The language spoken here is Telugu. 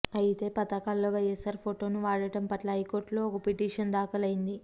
అయితే పథకాలలో వైయస్సార్ ఫోటో ను వాడటం పట్ల హైకోర్టు లో ఒక పిటిషన్ దాఖలు అయింది